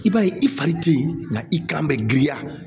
I b'a ye i fari te yen nka i kan bɛ girinya